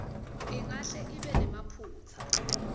ingahle ibe nemaphutsa